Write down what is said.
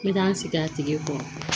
N bɛ taa n sigi a tigi kɔrɔ